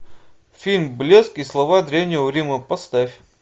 фильм блеск и слава древнего рима поставь